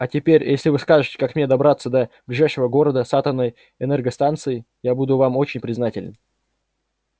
а теперь если вы скажете как мне добраться до ближайшего города с атомной энергостанцией я буду вам очень признателен